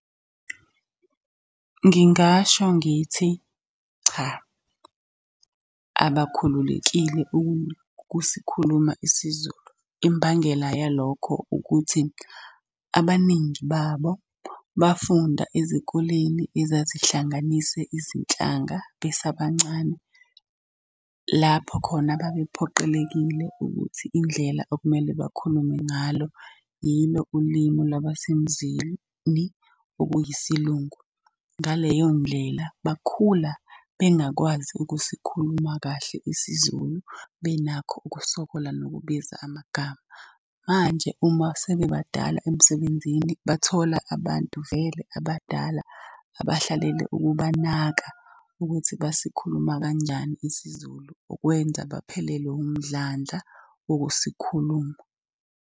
Ngingasho ngithi cha, abakhululekile ukusikhuluma isiZulu. Imbangela yalokho ukuthi, abaningi babo bafunda ezikoleni ezazihlanganise izinhlanga besabancane. Lapho khona babephoqelekile ukuthi indlela okumele bakhulume ngalo yilo ulimu la basemzini okuyi okuyisilungu. Ngaleyo ndlela bakhula bengakwazi ukusikhuluma kahle isiZulu, benakho ukusokola nokubiza amagama. Manje uma sebebadala emsebenzini bathola abantu vele abadala abahlalele ukubanaka ukuthi basikhuluma kanjani isiZulu ukwenza baphelelwe. umdlandla wokusikhuluma.